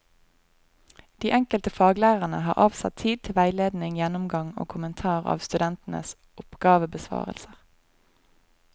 De enkelte faglærerne har avsatt tid til veiledning, gjennomgang og kommentar av studentenes oppgavebesvarelser.